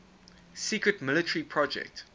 secret military project